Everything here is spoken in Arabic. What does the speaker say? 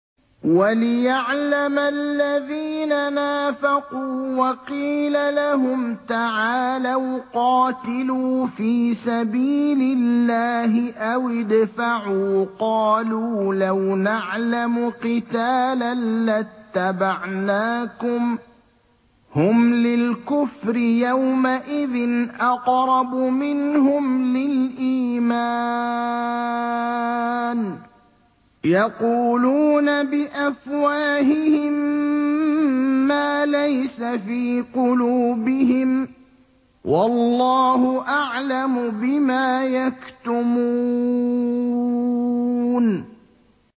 وَلِيَعْلَمَ الَّذِينَ نَافَقُوا ۚ وَقِيلَ لَهُمْ تَعَالَوْا قَاتِلُوا فِي سَبِيلِ اللَّهِ أَوِ ادْفَعُوا ۖ قَالُوا لَوْ نَعْلَمُ قِتَالًا لَّاتَّبَعْنَاكُمْ ۗ هُمْ لِلْكُفْرِ يَوْمَئِذٍ أَقْرَبُ مِنْهُمْ لِلْإِيمَانِ ۚ يَقُولُونَ بِأَفْوَاهِهِم مَّا لَيْسَ فِي قُلُوبِهِمْ ۗ وَاللَّهُ أَعْلَمُ بِمَا يَكْتُمُونَ